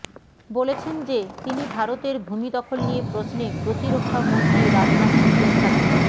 বলেছেন যে তিনি ভারতের ভূমি দখল নিয়ে প্রশ্নে প্রতিরক্ষা মন্ত্রী রাজনাথ সিংয়ের সাথে